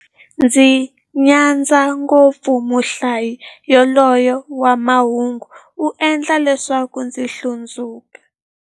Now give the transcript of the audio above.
Ndzi nyadza ngopfu muhlayi yaloye wa mahungu, u endla leswaku ndzi hlundzuka.